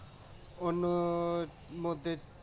অন্যের মধ্যে